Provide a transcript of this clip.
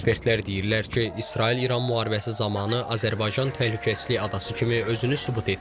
Ekspertlər deyirlər ki, İsrail-İran müharibəsi zamanı Azərbaycan təhlükəsizlik adası kimi özünü sübut etdi.